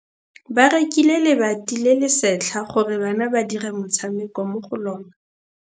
Ba rekile lebati le le setlha gore bana ba dire motshameko mo go lona.